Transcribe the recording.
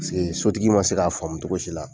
Paseke sotigi man se k'a faamu cogo si la.